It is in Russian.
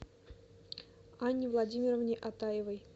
анне владимировне атаевой